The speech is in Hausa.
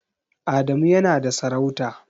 Adamu yana da sarauta.